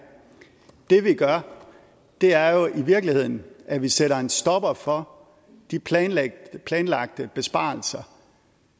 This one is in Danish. det vi gør er jo i virkeligheden at vi sætter en stopper for de planlagte planlagte besparelser